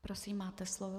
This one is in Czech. Prosím, máte slovo.